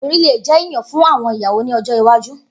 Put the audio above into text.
Ibori le jẹ iyan fun awọn iyawo ni ojo iwaju.